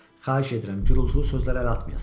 Xahiş edirəm, gurultulu sözlərə əl atmayasınız.